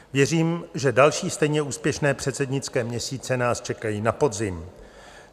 Věřím, že další stejně úspěšné předsednické měsíce nás čekají na podzim.